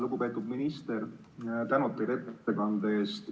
Lugupeetud minister, suur tänu teile ettekande eest!